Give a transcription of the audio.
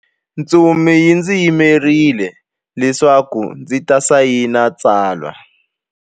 Ntsumi yi ndzi yimerile leswaku ndzi ta sayina tsalwa.